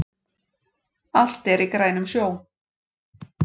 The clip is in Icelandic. Allt er í grænum sjó